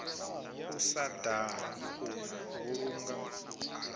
u sa daha u vhulunga